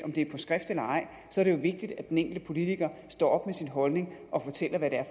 er på skrift eller ej er det jo vigtigt at den enkelte politiker står op med sin holdning og fortæller hvad det er